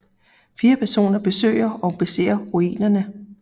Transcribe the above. Fire personer besøger og beser ruinerne